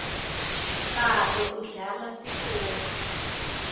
babe udlala sitoli